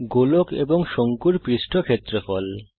গোলক এবং শঙ্কুর পৃষ্ঠ ক্ষেত্রফল